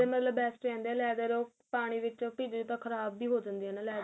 ਮਤਲਬ best ਰਹਿੰਦੇ ਏ leather ਉਹ ਪਾਣੀ ਵਿਚੋ ਭਿਜ ਜੇ ਤਾਂ ਖਰਾਬ ਵੀ ਹੋ ਜਾਂਦੇ ਏ ਨਾ leather